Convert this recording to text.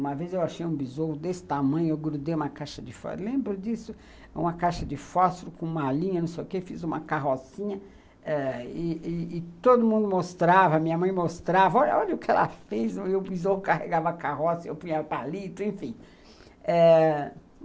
Uma vez eu achei um besouro desse tamanho, eu grudei uma caixa de fósforo, lembro disso, uma caixa de fósforo com uma linha, não sei o quê, fiz uma carrocinha ah e todo mundo mostrava, minha mãe mostrava, olha o que ela fez, o besouro carregava a carroça, eu punha o palito, enfim.